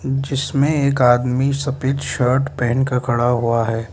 जिसमें एक आदमी सफेद शर्ट पहेनकर खड़ा हुआ है।